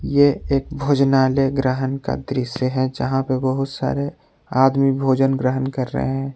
ये एक भोजनालय ग्रहण का दृश्य है जहां पर बहुत सारे आदमी भोजन ग्रहण कर रहे हैं।